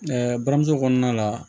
buramuso kɔnɔna la